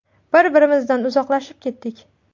Bir-birimizdan uzoqlashib ketdik.